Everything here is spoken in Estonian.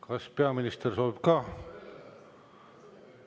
Kas peaminister soovib ka?